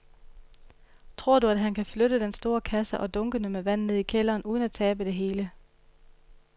Tror du, at han kan flytte den store kasse og dunkene med vand ned i kælderen uden at tabe det hele?